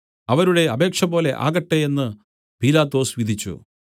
അവരുടെ അപേക്ഷപോലെ ആകട്ടെ എന്നു പീലാത്തോസ് വിധിച്ചു